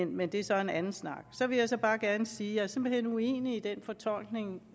men det er så en anden snak så vil jeg bare gerne sige at jeg simpelt hen er uenig i den fortolkning